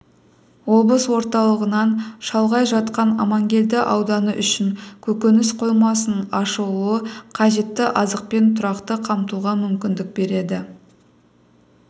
облыс орталығынан шалғай жатқан аманкелді ауданы үшін көкөніс қоймасының ашылуы қажетті азықпен тұрақты қамтуға мүмкіндік береді